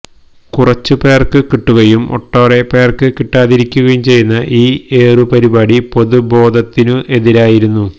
കുറച്ചു പേര്ക്കു കിട്ടുകയും ഒട്ടേറെ പേര്ക്ക് കിട്ടാതിരിക്കുകയും ചെയ്യുന്ന ഈ ഏറു പരിപാടി പൊതുബോധത്തിനു എതിരായിരുന്നു